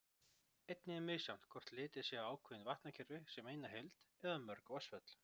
Einnig er misjafnt hvort litið er á ákveðin vatnakerfi sem eina heild eða mörg vatnsföll.